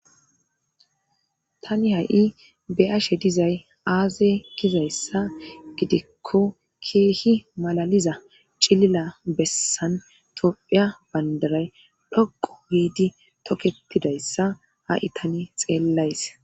tani ha'i be'ashe dizay aaze gizayssa gidekko keehi malaliza cilila bessan tophiya bandaray dhoqo giidi tokketidayssa ha'i tani xeellays